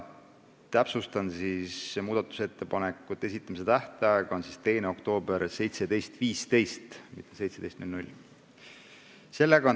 Täpsustan, et muudatusettepanekute esitamise tähtaeg on 2. oktoobril kell 17.15, mitte kell 17.00.